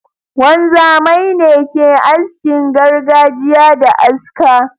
Wanzamai ne ke askin gargajiya da aska.